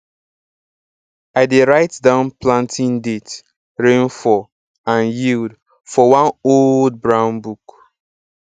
i dey write down planting date rainfall and yield for one old brown book